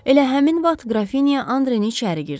Elə həmin vaxt Qrafinya Andre içəri girdi.